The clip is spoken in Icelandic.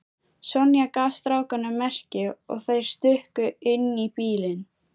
Sonja gaf strákunum merki og þeir stukku inn í bílinn.